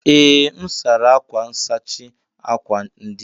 Ee, m sara akwa nsachi akwa ndina